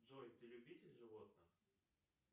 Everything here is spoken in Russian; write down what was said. джой ты любитель животных